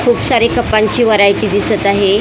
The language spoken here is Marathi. खूप सारी कपांची व्हरायटी दिसत आहे .